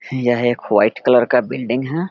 यह एक white colour का बिल्डिंग है।